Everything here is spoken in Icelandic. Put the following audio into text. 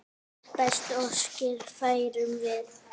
Bestu óskir færum við.